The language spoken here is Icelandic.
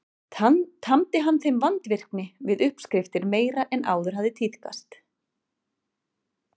Tamdi hann þeim vandvirkni við uppskriftir meiri en áður hafði tíðkast.